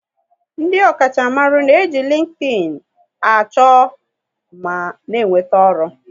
Ndị ọkacha mmaru n'eji LinkedIn a chọ ma na enweta ọrụ